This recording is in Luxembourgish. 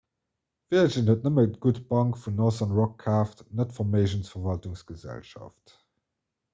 virgin huet nëmmen d''gutt bank' vun northern rock kaaft net d'verméigensverwaltungsgesellschaft